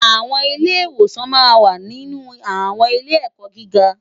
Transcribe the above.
Awòn Ilè iwòsán mà n wá ninú áwòn ilé èkò gigá